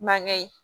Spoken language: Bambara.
Mankɛ ye